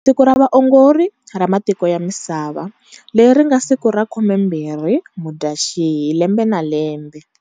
Siku ra Vaongori ra Matiko ya Misava, leri ri nga siku ra 20 Mudyaxihi lembe na lembe.